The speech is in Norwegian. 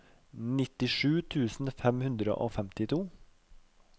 nittisju tusen fem hundre og femtito